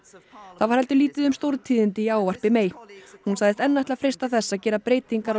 það var heldur lítið um stórtíðindi í ávarpi hún sagðist enn ætla að freista þess að gera breytingar á